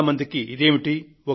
చాలా మందికి ఇదేమిటి